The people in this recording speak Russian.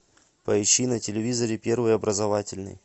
поищи на телевизоре первый образовательный